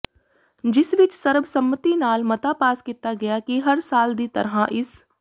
ਜਿਸ ਵਿਚ ਸਰਬਸੰਮਤੀ ਨਾਲ ਮਤਾ ਪਾਸ ਕੀਤਾ ਗਿਆ ਕਿ ਹਰ ਸਾਲ ਦੀ ਤਰ੍ਹਾਂ ਇਸ